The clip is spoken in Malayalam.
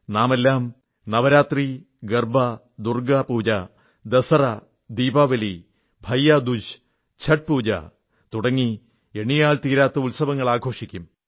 നാമെല്ലാം നവരാത്രി ഗർബാ ദുർഗ്ഗാ പൂജ ദസറാ ദീപാവലി ഭൈയാ ദൂജ് ഛഠ് പൂജ തുടങ്ങി എണ്ണിയാൽത്തീരാത്ത ഉത്സവങ്ങൾ ആഘോഷിക്കും